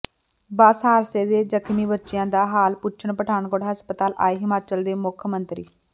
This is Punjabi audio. ਬੱਸ ਹਾਦਸੇ ਦੇ ਜ਼ਖ਼ਮੀ ਬੱਚਿਆਂ ਦਾ ਹਾਲ ਪੁੱਛਣ ਪਠਾਨਕੋਟ ਹਸਪਤਾਲ ਆਏ ਹਿਮਾਚਲ ਦੇ ਮੁੱਖ ਮੰਤਰੀ